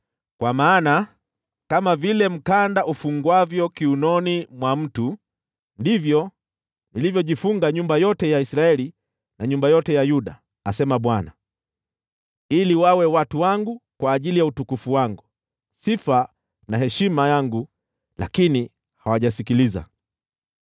Kwa maana kama vile mkanda ufungwavyo kiunoni mwa mtu, ndivyo nilivyojifunga nyumba yote ya Israeli na nyumba yote ya Yuda,’ asema Bwana , ‘ili wawe watu wangu kwa ajili ya utukufu wangu, sifa na heshima yangu. Lakini hawajasikiliza.’